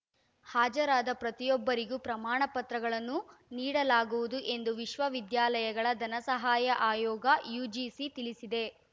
ಹಾಜರಾದ ಪ್ರತಿಯೊಬ್ಬರಿಗೂ ಪ್ರಮಾಣ ಪತ್ರಗಳನ್ನು ನೀಡಲಾಗುವುದು ಎಂದು ವಿಶ್ವವಿದ್ಯಾಲಯಗಳ ಧನಸಹಾಯ ಆಯೋಗ ಯುಜಿಸಿ ತಿಳಿಸಿದೆ